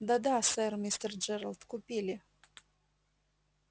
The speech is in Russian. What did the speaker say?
да да сэр мистер джералд купили